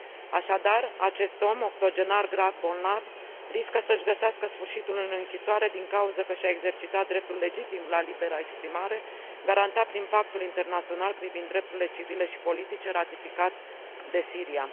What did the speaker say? Așadar, acest om, octogenar grav bolnav, riscă să și găsească sfârșitul în închisoare din cauză că și a exercitat dreptul legitim la libera exprimare, garantat prin pactul internațional privind drepturile civile și politice ratificat de Siria.